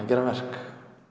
gera verk